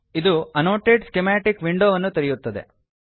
ಇದು annotate schematic ವಿಂಡೋವನ್ನು ತೆರೆಯುತ್ತದೆ